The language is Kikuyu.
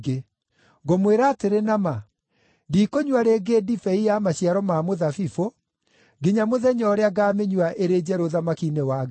Ngũmwĩra atĩrĩ na ma, ndikũnyua rĩngĩ ndibei ya maciaro ma mũthabibũ, nginya mũthenya ũrĩa ngaamĩnyua ĩrĩ njerũ ũthamaki-inĩ wa Ngai.”